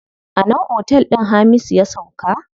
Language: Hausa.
A nan otel din Hamisu ya sauka.